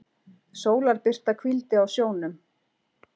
Sólarbirta hvíldi á sjónum.